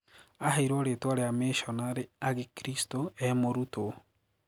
Aheirwo ritwa ria mishonare agikristu ee mũrũtwo.